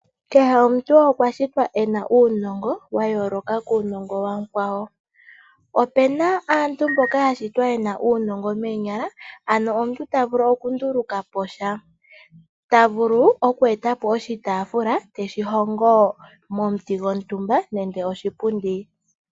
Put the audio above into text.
Kehe omuntu okwa shitwa e na uunongo wa yooloka kuunongo wa mukwawo. Opu na aantu mboka ya shitwa ye na uunongo moonyala, ano omuntu ta vulu okunduluka po sha. Omuntu ta vulu oku eta po oshitaafula te shi hongo momuti gwontumba nenge oshipundi.